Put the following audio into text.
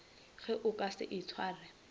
ge o ka se itshware